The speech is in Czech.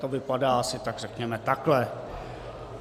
To vypadá asi tak řekněme takhle.